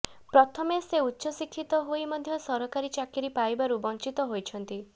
ପ୍ରଥମେ ସେ ଉଚ୍ଚଶିକ୍ଷିତ ହୋଇ ମଧ୍ୟ ସରକାରୀ ଚାକିରୀ ପାଇବାରୁ ବଞ୍ଚିତ ହୋଇଛନ୍ତି